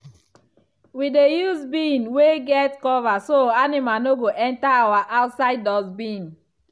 we dey use bin wey get cover so animal no go enter our outside dustbin.